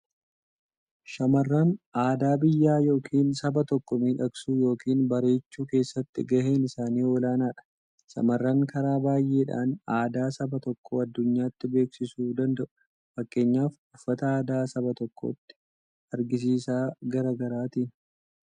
Shamarran aadaa biyyaa yookiin saba tokkoo miidhagsuu yookiin bareechuu keessatti gaheen isaanii olaanaadha. Shamarran karaa baay'eedhaan aadaa saba tokkoo addunyaatti beeksisuu danda'u. Fakkeenyaf uffata aadaa saba tokkooti, agarsiisa garaa garaatiin